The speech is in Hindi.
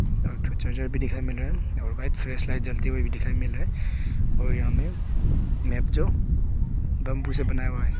और एक ठो चार्जर भी दिखाई मिल रहा है और व्हाइट फ्रेश लाइट जलती हुई भी दिखाई मिल रहा है और यहां में मैप जो दमभूजा बनाया हुआ है।